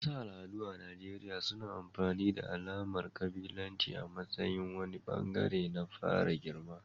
Wasu al'adu a Najeriya suna amfani da alamar kabilanci a matsayin wani bangare na fara girma.